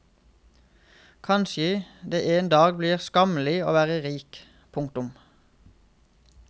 Kanskje det en dag blir skammelig å være rik. punktum